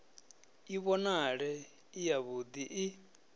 i vhonale i yavhud i